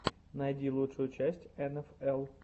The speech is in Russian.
найди лучшую часть эн эф эл